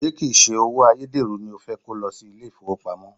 Ṣé kìí se owó ayédèrú ni o fẹ́ kó lọ sí ilé ìfowópamọ́?